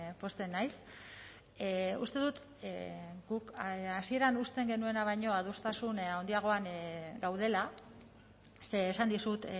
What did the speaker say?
pozten naiz uste dut guk hasieran uzten genuena baino adostasun handiagoan gaudela ze esan dizut